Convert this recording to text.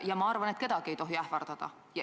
Ja ma arvan, et kedagi ei tohi ähvardada.